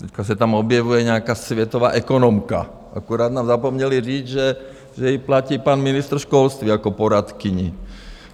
Teď se tam objevuje nějaká světová ekonomka, akorát nám zapomněli říct, že ji platí pan ministr školství jako poradkyni.